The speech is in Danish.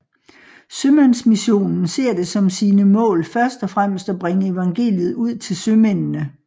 Sømandsmissionen ser det som sine mål først og fremmest at bringe evangeliet ud til sømændene